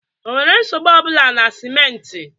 Ọ nwere nsogbu ọ bụla na simenti?